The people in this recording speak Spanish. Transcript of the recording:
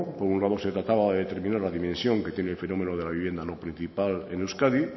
por un lado se trataba de determinar la dimensión que tiene el fenómeno de la vivienda no principal en euskadi